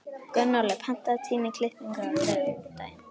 Gunnóli, pantaðu tíma í klippingu á þriðjudaginn.